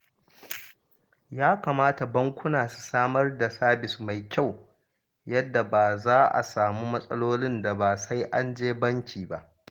Ya kamata bankuna su samar da sabis mai kyau yadda ba za a samu matsalolin da ba sai an je banki ba